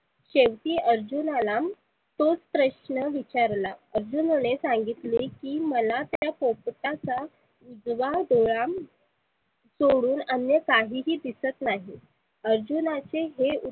शेवटी अर्जुनाला तोच प्रश्न विचारला. अर्जुनने सांगितले की मला त्या पोपटाचा उजवा डोळा सोडून अन्य काहिही दिसत नाही अर्जुनाचे हे